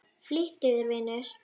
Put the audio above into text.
Flýttu þér, vinur.